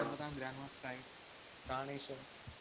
~മ്പതാം grand master ആയി പ്രാണേഷും